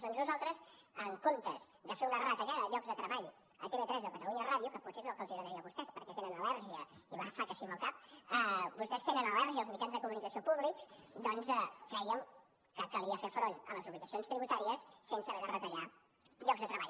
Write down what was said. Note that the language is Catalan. doncs nosaltres en comptes de fer una retallada de llocs de treball a tv3 o catalunya ràdio que potser és el que els agradaria a vostès perquè tenen al·lèrgia i fa que sí amb el cap als mitjans de comunicació públics doncs crèiem que calia fer front a les obligacions tributàries sense haver de retallar llocs de treball